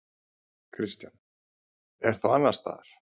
Kristján: En þá annars staðar?